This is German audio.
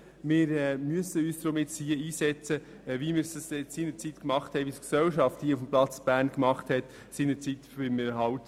Wir müssen uns deshalb nun hier einsetzen, so, wie es die Gesellschaft hier in Bern auch damals beim Erhalt der Zeitung «Der Bund» getan hat.